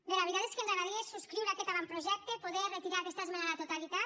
bé la veritat és que ens agradaria subscriure aquest avantprojecte poder retirar aquesta esmena a la totalitat